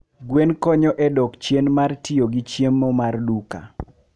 Gwen konyo e dok chien mar tiyo gi chiemo mar duka